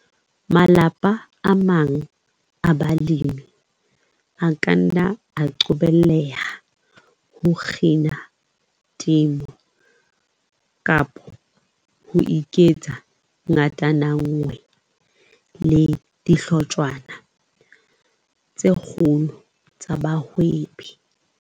Malapa a mang a balemi a ka nna a qobelleha ho kgina temo kapa ho iketsa ngatananngwe le dihlotshwana tse kgolo tsa bahwebi.